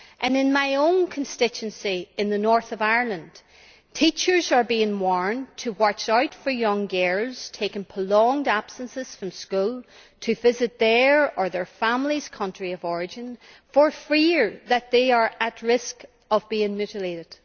In my own constituency in the North of Ireland, teachers are being warned to watch out for girls taking prolonged absences from school to visit their or their families' countries of origin for fear that they are at risk of being mutilated.